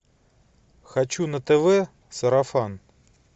хочу на тв сарафан